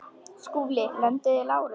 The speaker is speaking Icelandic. SKÚLI: Lömduð þið Lárus?